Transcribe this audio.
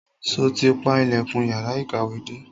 Sọ ti pa ilẹ̀kùn yàrá ìkàwé dé?